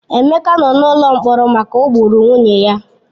Emeka nọ n'ụlọ mkpọrọ maka o gburu nwunye ya.